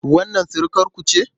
Wannan surukarku ce?